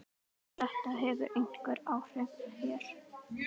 Þetta hefur einhver áhrif hér.